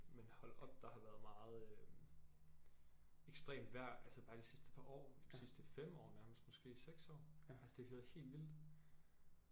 Men hold op der har været meget øh ekstremt vejr altså bare de sidste par år de sidste 5 år nærmest måske 6 år altså det har været helt vildt